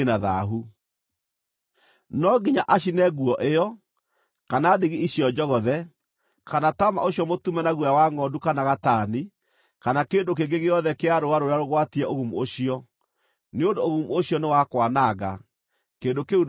No nginya acine nguo ĩyo, kana ndigi icio njogothe, kana taama ũcio mũtume na guoya wa ngʼondu kana gatani, kana kĩndũ kĩngĩ gĩothe kĩa rũũa rũrĩa rũgwatie ũgumu ũcio, nĩ ũndũ ũgumu ũcio nĩ wa kwananga; kĩndũ kĩu no nginya gĩcinwo.